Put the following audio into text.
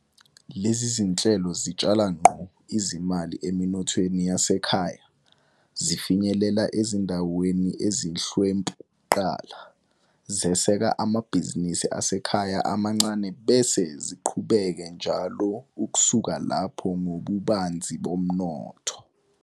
Lezi zinhlelo zitshala ngqo izimali eminothweni yasekhaya, zifinyelela ezindaweni ezihlwempu kuqala, zeseka amabhizinisi asekhaya amancane bese ziqhubeke njalo ukusuka lapho ngobubanzi bomnotho.